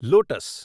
lotus